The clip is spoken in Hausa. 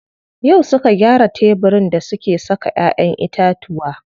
Yau suka gyara tebirin da suke saka ƴaƴen itatuwa.